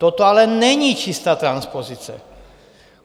Toto ale není čistá transpozice.